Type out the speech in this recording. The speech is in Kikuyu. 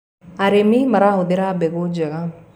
arĩmi marahuthira mbegũ njega